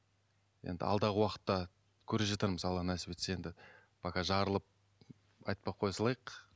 енді алдағы уақытта көре жатармыз алла нәсіп етсе енді пока жарылып айтпай коя салайық